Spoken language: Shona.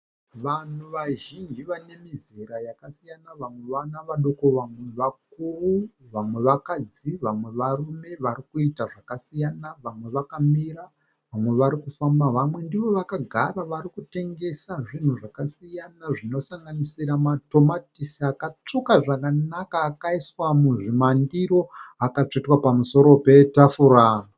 Vanhu vazhinji vane mizera yakasiyana, vamwe vana vadoko, vamwe vakuru, vamwe vakadzi, vamwe varume vari kuita zvakasiyana. Vamwe vakamira, vamwe vari kufamba, vamwe ndivo vakagara vari kutengesa zvinhu zvakasiyana zvinosanganisira matomatisi akatsvuka zvakanaka akaiswa muzvimandiro, akatsvetwa pamusoro petafura.